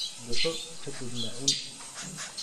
Duco ka dibna cun.